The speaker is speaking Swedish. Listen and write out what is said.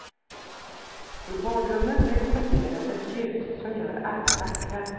I badrummet rekommenderas ett ljus som gör alla vackra.